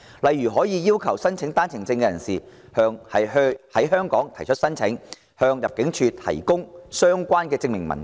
例如要求申請單程證的人士在香港提出申請，向入境事務處提供相關證明文件。